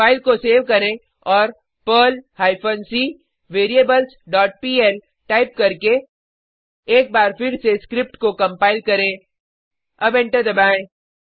file को save करें और Perl hyphen c variables dot pl type करके एक बार फिर से स्क्रिप्ट को कंपाइल करें अब एंटर दबाएँ